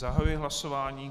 Zahajuji hlasování.